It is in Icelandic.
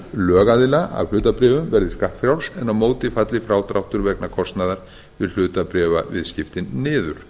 lögaðila af hlutabréfum verði skattfrjáls en á móti falli frádráttur vegna kostnaðar við hlutabréfaviðskiptin niður